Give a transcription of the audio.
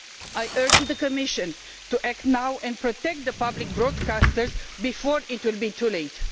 I urge the Commission to act now and protect public broadcasters before it is too late.